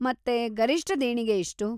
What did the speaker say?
ಮತ್ತೆ ಗರಿಷ್ಟ ದೇಣಿಗೆ ಎಷ್ಟು?